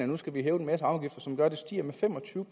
nu skal hæve en masse afgifter som gør at grænsehandelen stiger fem og tyve